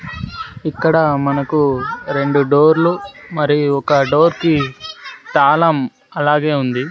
ఇక్కడ మనకు రెండు డోర్లు మరియు ఒక డోర్ కి తాళం అలాగే ఉంది.